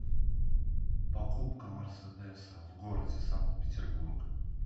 покупка мерседеса в городе санкт петербург